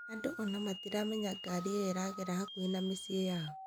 Andũ ona matiramenya ngarĩ ĩyo ĩragera hakuhĩ na mĩciĩ yao.